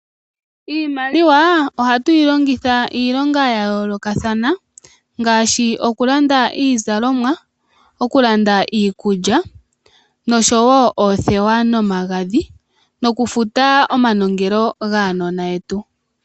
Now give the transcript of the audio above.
Iimaliwa ohatu yi longitha iilonga ya yoolokathana ,ngaashi okulanda iizalomwa, okulanda iikulya nosho wo oothewa nomagadhi noku futa omanongelo gaanona yetu.